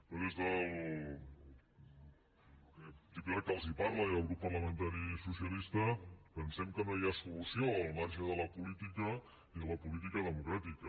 però des del diputat que els parla i el grup parlamentari socialista pensem que no hi ha solució al marge de la política i de la política democràtica